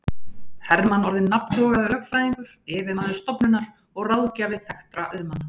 Hermann orðinn nafntogaður lögfræðingur, yfirmaður stofunnar og ráðgjafi þekktra auðmanna.